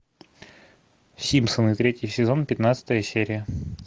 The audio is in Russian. симпсоны третий сезон пятнадцатая серия